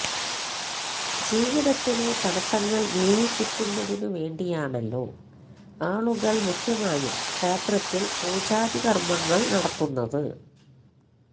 ജീവിതത്തിലെ തടസ്സങ്ങള് നീങ്ങിക്കിട്ടുന്നതിനു വേണ്ടിയാണല്ലോ ആളുകള് മുഖ്യമായും ക്ഷേത്രത്തില് പൂജാദികര്മ്മങ്ങള് നടത്തുന്നത്